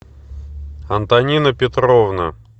антонина петровна